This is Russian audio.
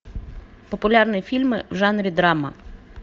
популярные фильмы в жанре драма